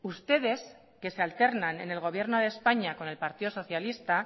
ustedes que se alternan en el gobierno de españa con el partido socialista